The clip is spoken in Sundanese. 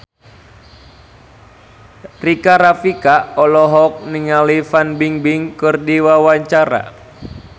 Rika Rafika olohok ningali Fan Bingbing keur diwawancara